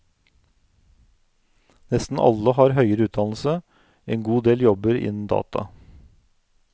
Nesten alle har høyere utdannelse, en god del jobber innen data.